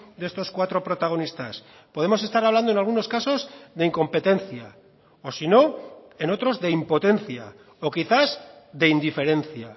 de estos cuatro protagonistas podemos estar hablando en algunos casos de incompetencia o si no en otros de impotencia o quizás de indiferencia